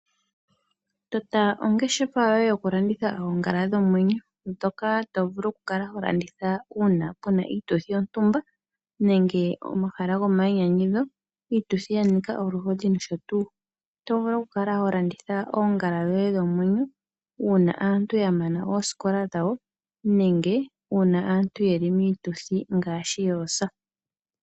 Tota ongeshefa yoye yokulanditha oongala dhomwenyo ndhoka to vulu okukala ho landitha uuna pu na iituthi yontumba nenge omahala gomayinyanyudho, iituthi ya nika oluhodhi nosho tuu. Oto vulu okukala ho landitha oongala dhoye dhomwenyo uuna aantu ya mana oosikola dhawo nenge uuna aantu ye li miituthi ngaashi yoosa.